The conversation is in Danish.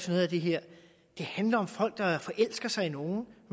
noget af det her det handler om folk der forelsker sig i nogen